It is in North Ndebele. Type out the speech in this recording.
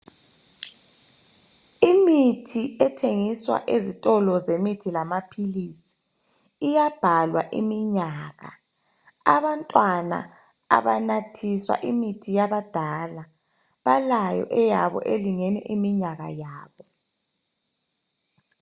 Imithi ethengiswa ezitolo zemithi lamaphilisi iyabhalwa iminyaka. Abantwana abanathiswa imithi yabadala balayo eyabo elingene iminyaka yabo.